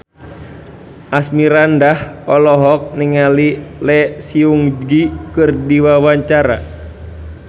Asmirandah olohok ningali Lee Seung Gi keur diwawancara